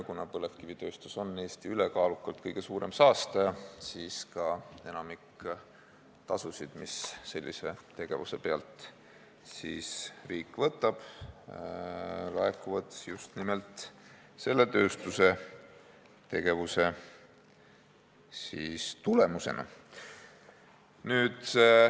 Kuna põlevkivitööstus on Eesti ülekaalukalt kõige suurem saastaja, siis ka enamik tasusid, mida riik sellise tegevuse pealt võtab, laekub just nimelt selle tööstuse tegevuse tulemusena.